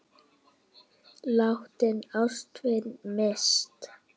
Látinna ástvina minnst.